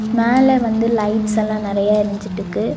மேல வந்து லைட்ஸ் எல்லா நறையா எரிஞ்சிட்டுக்கு.